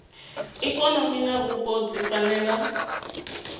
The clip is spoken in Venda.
ikonomi na vhupo dzi fanela